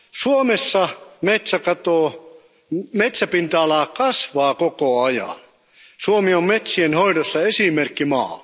Suomessa metsäpinta ala kasvaa koko ajan. Suomi on metsien hoidossa esimerkkimaa.